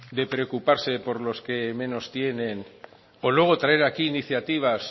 de preocuparse por lo que menos tienen o luego traer aquí iniciativas